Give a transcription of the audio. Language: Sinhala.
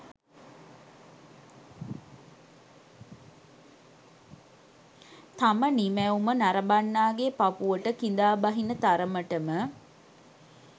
තම නිමැවුම නරඹන්නාගේ පපුවට කිඳා බහින තරමට ම